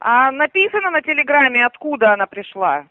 а написано на телеграмме откуда она пришло